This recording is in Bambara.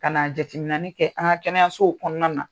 Ka na jateminani kɛ an kɛnɛyaso kɔnɔna na.